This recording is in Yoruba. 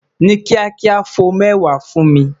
Ni kiakia, fo mẹwa fun mi